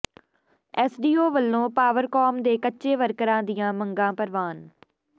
SDO ਵੱਲੋਂ Powercom ਦੇ ਕੱਚੇ ਵਰਕਰਾਂ ਦੀਆਂ ਮੰਗਾਂ ਪ੍ਰਵਾਨ